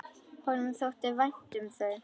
Honum þótti vænt um þau.